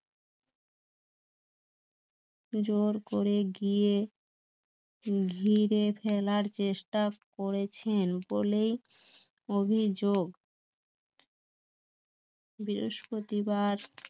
জোর করে গিয়ে ঘিরে ফেলার চেষ্টা করেছেন বলেই অভিযোগ বৃহস্পতিবার